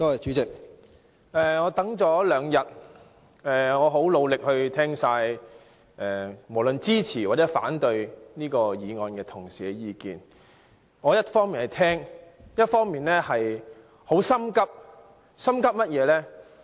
主席，我等了兩天，我很努力聽完無論支持或者反對這項議案的同事的意見，我一方面聆聽，另一方面很心急，心急甚麼呢？